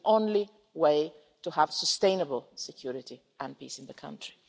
This is the only way to have sustainable security and peace in the country.